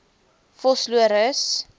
vosloorus